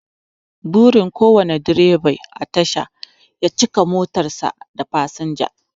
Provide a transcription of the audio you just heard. Burin kowane direba a tasha ya cika motar sa da fasinja